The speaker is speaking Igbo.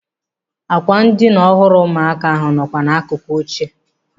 Ákwà ndịna ọhụrụ ụmụaka ahụ ọ nọkwa n'akụkụ oche?